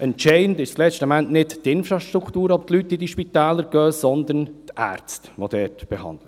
Entscheidend ist letzten Endes nicht die Infrastruktur, ob die Leute in diese Spitäler gehen, sondern die Ärzte, die dort behandeln.